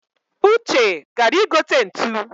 Uche gara igote ntu